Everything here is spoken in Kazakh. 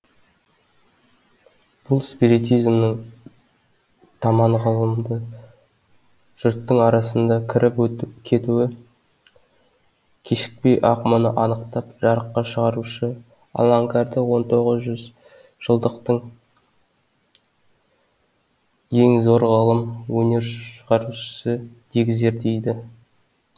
бұл спиритизмнің таман ғылымды жұрттың арасына кіріп кетуі кешікпей ақ мұны анықтап жарыққа шығарушы аланкарды он тоғыз жүз жылдықтың ең зор ғылым өнер шығарушысы дегізер дейді